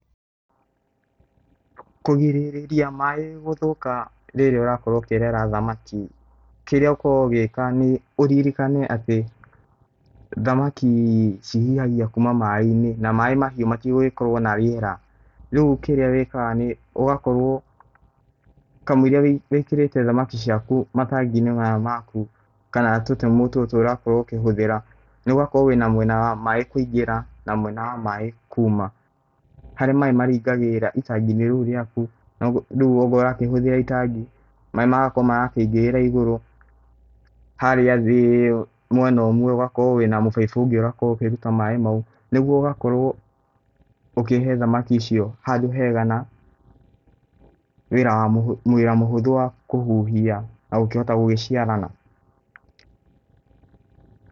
Kũgĩrĩria maĩ gũthũka rĩrĩa ũrakorwo ũkĩrera thamaki, kĩria ũkoragwo ũgĩka nĩ ũrĩrĩkane atĩ thamaki cihihagia kuma maĩ-inĩ na maĩ mahiu matĩgũgĩkorwo na rĩera rĩu kĩrĩa wĩkaga nĩ ũgakorwo, kamũiria wĩkĩrĩte thamaki ciaku matangi-inĩ maya maku kana tũdemũ tũtũ ũrakorwo ũkĩhũthĩra, nĩ ũgagĩkorwo wĩna mwena wa maĩ kũigĩra na mwena wa maĩ kuma, harĩa maĩ marĩingagĩrĩra itangi-inĩ rĩu rĩaku, rĩu ongorwo ũratũmĩra itangi maĩ magakorwo maraĩngĩrĩra ĩgũrũ harĩa thĩ mwena ũmwe ũgakorwo wĩna mũbaibũ ũngĩ ũrarũta maĩ maũ, nĩguo ũgakorwo ũkĩhe thamaki icio handũ hega na wĩra mũhũthũ wa kũhihia na gũkĩhota gũgĩciarana.